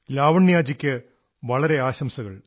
ലാവണ്യാജിക്ക് വളരെ ആശംസകൾ